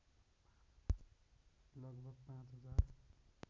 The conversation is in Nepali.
लगभग पाँच हजार